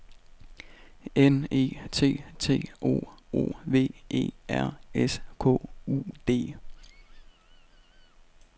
N E T T O O V E R S K U D